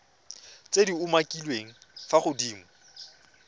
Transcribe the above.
tse di umakiliweng fa godimo